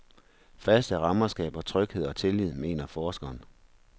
Faste rammer skaber tryghed og tillid, mener forskeren.